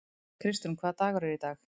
Kristrún, hvaða dagur er í dag?